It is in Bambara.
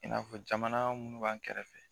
I n'a fɔ jamana minnu b'an kɛrɛfɛ